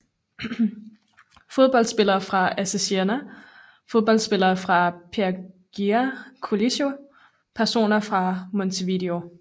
Fodboldspillere fra AC Siena Fodboldspillere fra Perugia Calcio Personer fra Montevideo